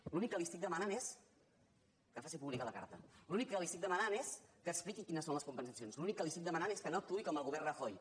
l’únic que li estic demanant és que faci pública la car·ta l’únic que li estic demanant és que expliqui quines són les compensacions l’únic que li estic demanant és que no actuï com el govern rajoy